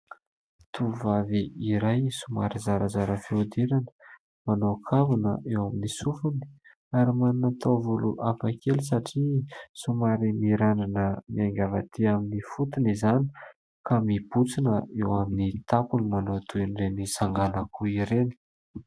Tovovavy iray somary zarazara fihodirana, manao kavina eo amin'ny sofiny ary manana taovolo hafakely satria somary mirandrana miainga avy aty amin'ny fotony izany ka mibontsina eo amin'ny tampony manao toy ireny sangan'akoho ireny.